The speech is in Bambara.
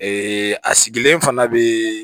a sigilen fana bɛ